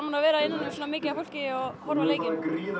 að vera innan um svona mikið af fólki að horfa á leikinn